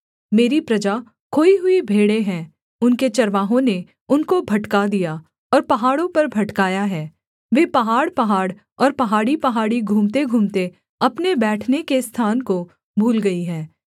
मेरी प्रजा खोई हुई भेड़ें हैं उनके चरवाहों ने उनको भटका दिया और पहाड़ों पर भटकाया है वे पहाड़पहाड़ और पहाड़ीपहाड़ी घूमतेघूमते अपने बैठने के स्थान को भूल गई हैं